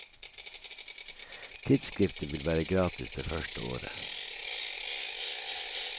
Tidsskriftet vil være gratis det første året.